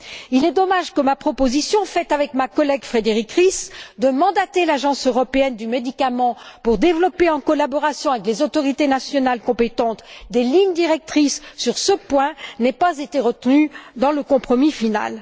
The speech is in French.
Il est dommage que ma proposition, faite avec ma collègue Frédérique Ries, de mandater l'Agence européenne des médicaments pour développer, en collaboration avec les autorités nationales compétentes, des lignes directrices sur ce point, n'ait pas été retenue dans le compromis final.